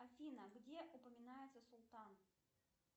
афина где упоминается султан